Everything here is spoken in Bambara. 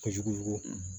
Kojugu